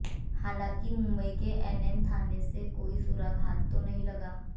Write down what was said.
हालांकि मुंबई के एनएम थाने से कोई सुराग हाथ तो नहीं लगा